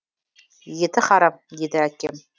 еті харам дейді әкем